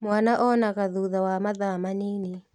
Mwana onaga thutha wa mathaa manini